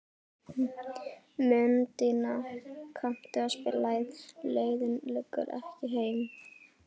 Mundína, kanntu að spila lagið „Leiðin liggur ekki heim“?